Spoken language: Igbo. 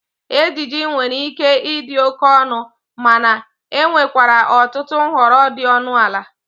Ejiji nwere ike ịdị oke ọnụ, mana enwerekwa ọtụtụ nhọrọ dị ọnụ ala.